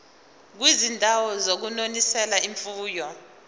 kwizindawo zokunonisela imfuyo